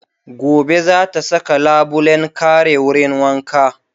Gobe za ta saka labulen kare wurin wanka